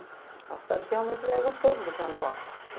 É uma cidade que realmente é gostoso você andar lá.